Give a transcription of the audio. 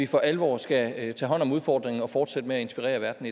for alvor skal tage hånd om udfordringen og fortsætte med at inspirere verden